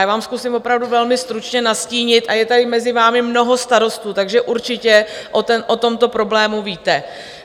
Já vám zkusím opravdu velmi stručně nastínit a je tady mezi vámi mnoho starostů, takže určitě o tomto problému víte.